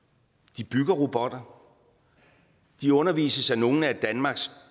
de bygger robotter de undervises af nogle af danmarks